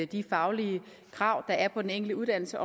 de faglige krav der er på den enkelte uddannelse